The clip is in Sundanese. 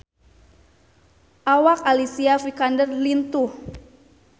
Awak Alicia Vikander lintuh